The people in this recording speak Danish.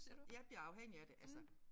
Jeg bliver afhængig af det altså